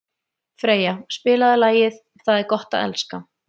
Freyja, spilaðu lagið „Það er gott að elska“.